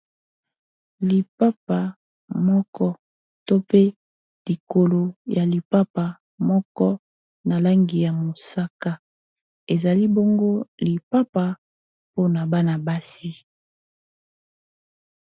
lipapa moko to pe likolo ya lipapa moko na langi ya mosaka ezali bongo lipapa mpona bana-basi